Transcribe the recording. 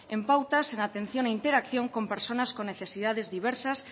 en pautas en atención a interacción con personas con necesidades diversas